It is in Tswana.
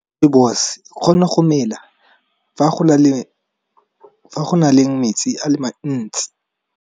Rooibos e kgona go mela fa go naleng metsi a le mantsi.